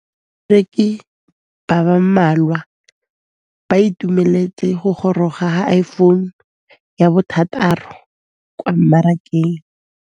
Bareki ba ba malwa ba ituemeletse go gôrôga ga Iphone6 kwa mmarakeng.